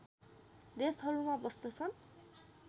देशहरूमा बस्तछन्